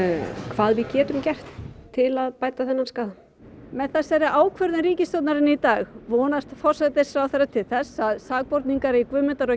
hvað við getum gert til að bæta þennan skaða með þessari ákvörðun ríkisstjórnarinnar í dag vonast forsætisráðherra til þess að sakborningar í Guðmundar og